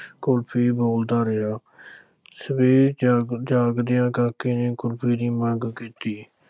ਕੁਲਫ਼ੀ ਬੋਲਦਾ ਰਿਹਾ ਸਵੇਰੇ ਜਾਗ ਜਾਗਦਿਆਂ ਕਾਕੇ ਨੇ ਕੁਲਫ਼ੀ ਦੀ ਮੰਗ ਕੀਤੀ।